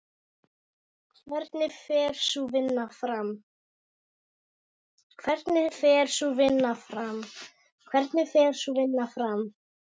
Hvernig fer sú vinna fram?